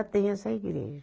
Tem essa igreja